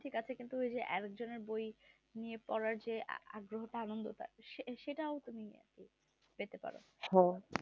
বই নিয়ে পড়ার যে আগ্রহ টা আনন্দ টা সেটাও তুমি আর কি পেতে পারো